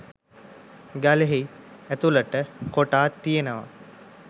ගලෙහි ඇතුලට කොටා තියෙනවා